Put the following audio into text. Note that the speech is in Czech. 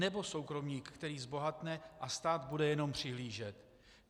Nebo soukromník, který zbohatne, a stát bude jenom přihlížet?